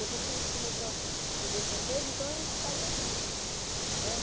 Depois que a gente começou a aprender francês, então a gente saía muito né.